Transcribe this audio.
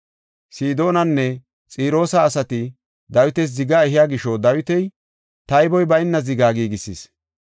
Sidoonanne Xiroosa asati Dawitas ziga ehiya gisho Dawiti, tayboy bayna ziga giigisis.